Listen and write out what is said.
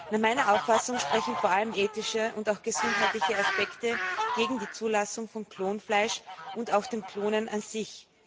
Nach meiner Auffassung sprechen vor allem ethische und auch gesundheitliche Aspekte gegen die Zulassung von Klonfleisch und auch des Klonens an sich.